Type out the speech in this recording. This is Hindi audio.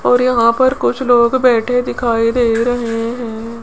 और यहां पर कुछ लोग बैठे दिखाई दे रहे हैं।